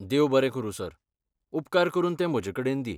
देव बरें करूं सर, उपकार करून तें म्हजे कडेन दी.